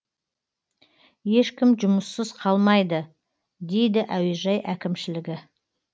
ешкім жұмыссыз қалмайды дейді әуежай әкімшілігі